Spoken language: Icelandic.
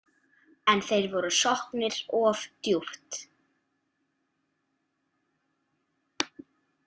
En þeir voru sokknir of djúpt.